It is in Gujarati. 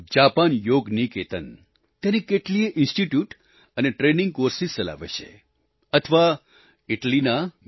જાપાન યોગ નિકેતન ત્યાંની કેટલીયે ઈન્સ્ટિટ્યૂટ અને ટ્રેનિંગ કોર્સિસ ચલાવે છે અથવા ઈટલીના એમએસ